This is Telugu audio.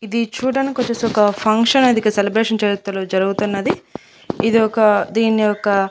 ఇది చూడ్డానికొచ్చేసి ఒక ఫంక్షన్ అనేది ఇక్క సెలబ్రేషన్ జరుగుతున్నది ఇది ఒక దీన్ని ఒక--